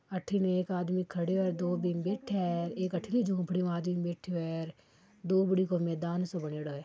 अठिन एक आदमी खडियो है दो बिम बेठिया है एक अट्ठिन झोपडी मे आदमी बेठियो है दोबड़ी को मैदान सो बनयोडो है।